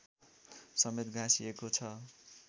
समेत गाँसिएको छ